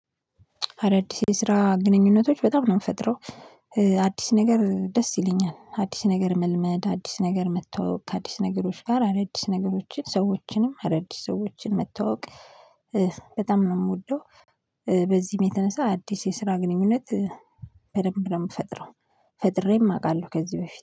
አዳዲስ የስራ ግንኙነቶች በጣም ነው እምፈጥረው። አዲስ ነገር ደስ ይለኛል አዲስ ነገር መልመድ አዲስ ነገር መተዋወቅ ከአዲስ ነገሮች ጋር አዳዲስ ነገሮችን ሰዎችንም አዳዲስ ሰዎችን መተዋወቅ በጣም ነው እምወደው። በዚህም የተነሳ አዲስ የስራ ግንኙነት በደንብ ነው እምፈጥረው። ፈጥሬም አውቃለሁ ከዚህ በፊት